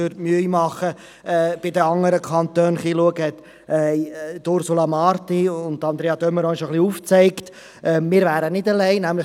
Würden wir uns die Mühe machen, uns in anderen Kantonen etwas umzusehen, könnten wir feststellen: Wir sind nicht allein, wie Ursula Marti und Andrea de Meuron bereits aufgezeigt haben.